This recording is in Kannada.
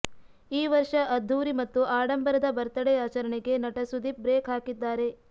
ಈ ವರ್ಷ ಅದ್ಧೂರಿ ಮತ್ತು ಆಡಂಬರದ ಬರ್ತಡೇ ಆಚರಣೆಗೆ ನಟ ಸುದೀಪ್ ಬ್ರೇಕ್ ಹಾಕಿದ್ದಾರೆ